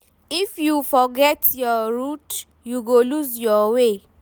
If you forget your root, you go loose your way.